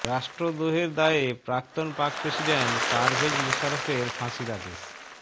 রাষ্ট্রদোহের দায়ে প্রাক্তন পাক প্রেসিডেন্ট পারভেজ মুশারফের ফাঁসির আদেশ